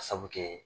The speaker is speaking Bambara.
A sabu kɛ